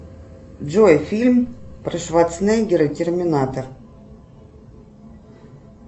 джой фильм про шварценеггера терминатор